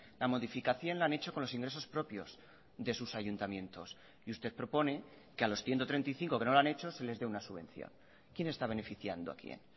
la modificación lo han hecho con los ingresos propios de sus ayuntamientos y usted propone que a los ciento treinta y cinco que no lo han hecho se les dé una subvención quién está beneficiando a quién